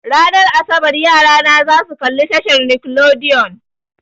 Ranar asabar yarana zasu kalla tashar nickelodeon.